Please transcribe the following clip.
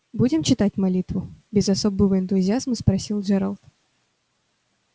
будем читать молитву без особого энтузиазма спросил джералд